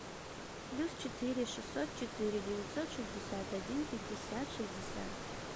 плюс четыре шестьсот четыре девятьсот шестьдесят один пятьдесят шестьдесят